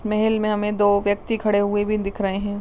महल में हमे दो व्यक्ति खड़े हुए भी दिख रहे है।